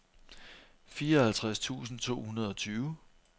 fireoghalvtreds tusind to hundrede og tyve